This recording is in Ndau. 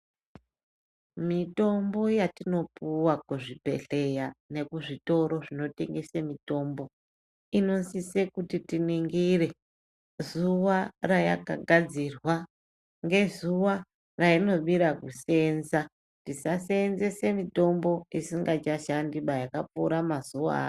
Mitombo yatinopuwa kuzvibhedhleya nekuzvitoro zvinotengese mitombo. Inosise kuti tiningire zuva yayakagadzira, ngezuva yainomira kusenza tisasenzese mitombo isingachashandiba yakupfura mazuva ayo.